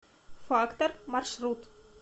фактор маршрут